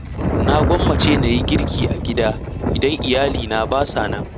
Na gwammace na yi girki a gida, idan Iyalina ba sa nan.